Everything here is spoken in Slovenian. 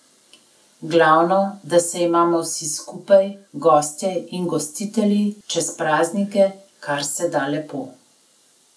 Glavno, da se imamo vsi skupaj, gostje in gostitelji, čez praznike kar se da lepo!